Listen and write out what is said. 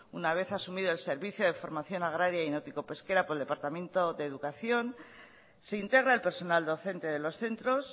una vez asumido el servicio de formación agraria y náutico pesquera por el departamento de educación se integra el personal docente de los centros